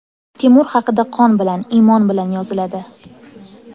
Temur haqida qon bilan, iymon bilan yoziladi.